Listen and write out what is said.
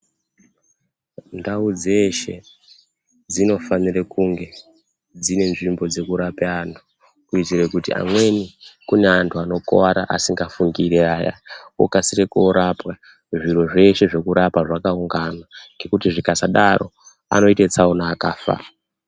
Ndau dzeshe dzino fanire kunge dzine nzvimbo dzeku rapira antu kuitire kuti amweni kune antu anokuwara asingafungiri aya okasire korapwa zviro zveshe zvekurapa zvakaungana ngekuti zvikasadaro anoite tsaona akafa.